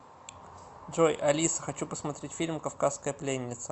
джой алиса хочу посмотреть фильм кавказская пленница